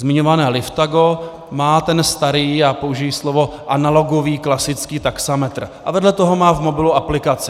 Zmiňované Liftago má ten starý, já použiji slovo analogový, klasický taxametr a vedle toho má v mobilu aplikaci.